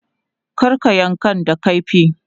Kar ka yankan da kaifi!